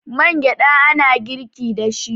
man gyada ana girki da shi